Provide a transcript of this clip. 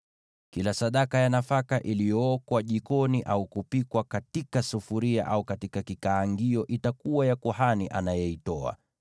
Kila sadaka ya nafaka iliyookwa jikoni au kupikwa katika sufuria au katika kikaangio itakuwa ya kuhani anayeitoa.